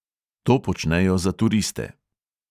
To počnejo za turiste.